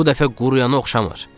"Bu dəfə quruya oxşamır."